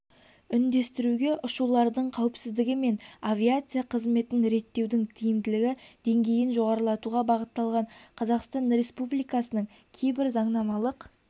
үндестіруге ұшулардың қауіпсіздігі мен авиация қызметін реттеудің тиімділігі деңгейін жоғарылатуға бағытталған қазақстан республикасының кейбір заңнамалық